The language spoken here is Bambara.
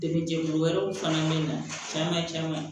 Degun jɛgun wɛrɛw fana bɛ na caman caman